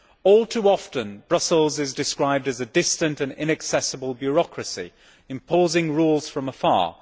All too often Brussels is described as a distant and inaccessible bureaucracy, imposing rules from afar.